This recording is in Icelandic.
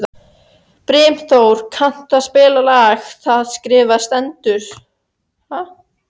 Brimþór, kanntu að spila lagið „Það skrifað stendur“?